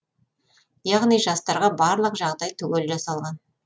яғни жастарға барлық жағдай түгел жасалған